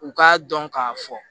U k'a dɔn k'a fɔ